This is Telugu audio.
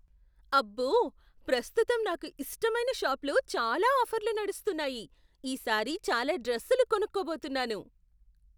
అబ్బో! ప్రస్తుతం నాకు ఇష్టమైన షాప్లో చాలా ఆఫర్లు నడుస్తున్నాయి. ఈసారి చాలా డ్రస్సులు కొనుక్కోబోతున్నాను.